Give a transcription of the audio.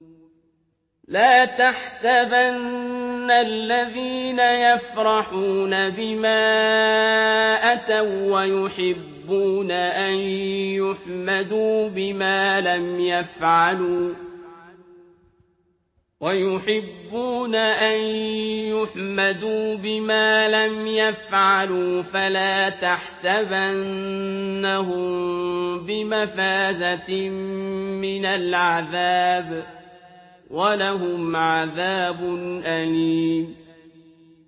لَا تَحْسَبَنَّ الَّذِينَ يَفْرَحُونَ بِمَا أَتَوا وَّيُحِبُّونَ أَن يُحْمَدُوا بِمَا لَمْ يَفْعَلُوا فَلَا تَحْسَبَنَّهُم بِمَفَازَةٍ مِّنَ الْعَذَابِ ۖ وَلَهُمْ عَذَابٌ أَلِيمٌ